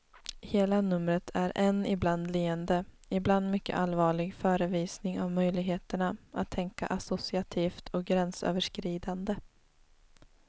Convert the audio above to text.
Hela numret är en ibland leende, ibland mycket allvarlig förevisning av möjligheterna att tänka associativt och gränsöverskridande.